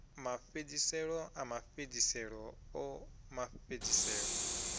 mafhedziselo a mafhedziselo o mafhedziselo